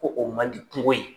Ko o mandi kuŋo ye.